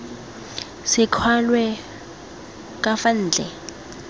se kwalwe ka fa ntle